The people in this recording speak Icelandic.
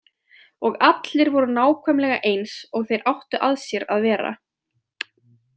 Og allir voru nákvæmlega eins og þeir áttu að sér að vera?